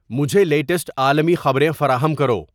مجھے لیٹسٹ عالمی خبریں فراہم کرو